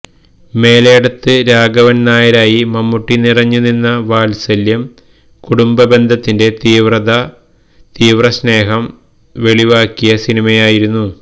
മേലേടത്ത് രാഘവന് നായരായി മമ്മൂട്ടി നിറഞ്ഞു നിന്ന വാത്സല്യം കുടുംബ ബന്ധത്തിന്റെ തീവ്ര സ്നേഹം വെളിവാക്കിയ സിനിമയായിരുന്നു